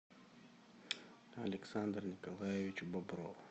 александр николаевич бобров